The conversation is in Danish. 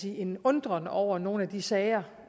en undren over nogle af de sager